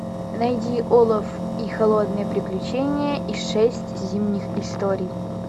найди олов и холодное приключение и шесть зимних историй